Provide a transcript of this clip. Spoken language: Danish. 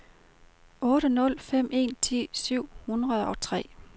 otte nul fem en ti syv hundrede og tre